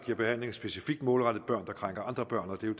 giver behandling specifikt målrettet mod børn der krænker andre børn og det